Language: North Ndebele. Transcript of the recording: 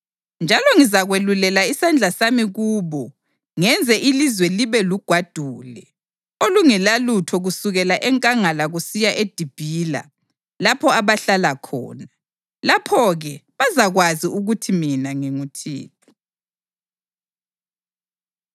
“Njalo ngizakwelulela isandla sami kubo ngenze ilizwe libe lugwadule olungelalutho kusukela enkangala kusiya eDibila lapho abahlala khona. Lapho-ke bazakwazi ukuthi mina nginguThixo.”